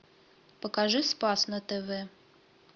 покажи спас на тв